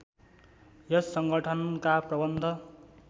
यस संगठनका प्रबन्ध